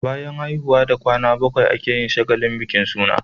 Bayan haihuwa da kwana bakwai ake yin shagalin bikin suna